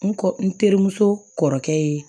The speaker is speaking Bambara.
N kɔ n terimuso kɔrɔkɛ ye